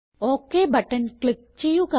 okay button click ചെയ്യുക